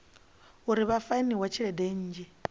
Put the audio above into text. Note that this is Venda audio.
uri vha fainiwe tshelede nnzhi